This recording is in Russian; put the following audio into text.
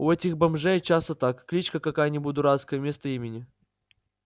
у этих бомжей часто так кличка какая-нибудь дурацкая вместо имени